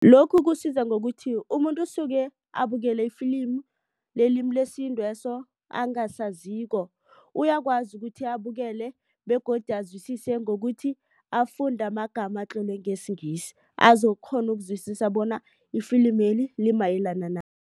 Lokhu kusiza ngokuthi umuntu osuke abukele ifilimu lelimi lesintu leso angasaziko uyakwazi ukuthi abukele begodu azwisise ngokuthi afunde amagama atlolwe ngesiNgisi azokukghona ukuzwisisa bona ifilimeli limayelana